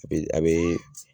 Epi abee